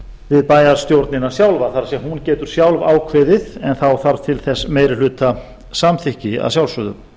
við bæjarstjórnina sjálfa það er hún getur sjálf ákveðið en þá þarf til þess meiri hluta samþykki að sjálfsögðu